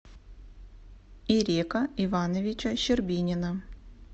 ирека ивановича щербинина